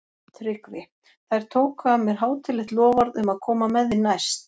TRYGGVI: Þær tóku af mér hátíðlegt loforð um að koma með þig næst.